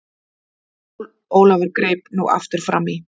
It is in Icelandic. Jón Ólafur greip nú aftur framí.